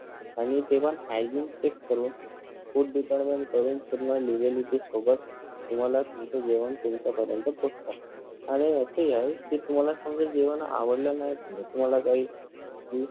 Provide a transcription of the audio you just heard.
आणि ते पण hygiene check करून food department कडून पूर्ण legally ते सोबत तुम्हाला तुमचं जेवण तुमच्यापर्यंत पोहचतात आणि असही आहे कि तुम्हाला समजा जेवण आवडला नाही तर तुम्हाला काही fee